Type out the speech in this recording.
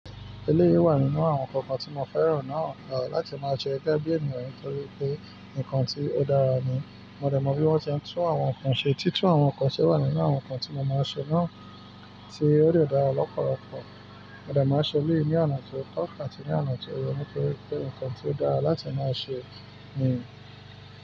Eléyìí wà nínú àwọn nkankan tí mo fẹ́ràn náà láti máa sẹ gegẹ́ bí ènìyàn nítorí pé nǹkan tí ó dára ni. Mo dẹ̀ mọ bí wọ́n ti ń tún àwọn nǹkan ṣe, títún àwọn nǹkan se wà nínú àwọn nǹkan tí mo máa ń ṣe náà tí ó dè dára lọ́pọ̀lọpọ̀. Mo dẹ̀ máa n ṣe eléyìí ní oná tó tọ̀ ati ní oná tó ye ní torí pé nǹkan tí ó dára láti máa ṣe ni.